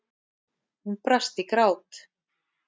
Hún brast í grát.